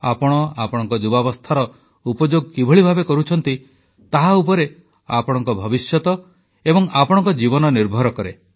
ଆପଣ ଆପଣଙ୍କ ଯୁବାବସ୍ଥାର ଉପଯୋଗ କିଭଳି ଭାବେ କରୁଛନ୍ତି ତାହା ଉପରେ ଆପଣଙ୍କ ଭବିଷ୍ୟତ ଏବଂ ଆପଣଙ୍କ ଜୀବନ ନିର୍ଭର କରେ